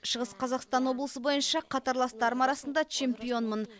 шығыс қазақстан облысы бойынша қатарластарым арасында чемпионмын